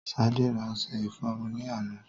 Sade ra ọṣe ìfọrunni àná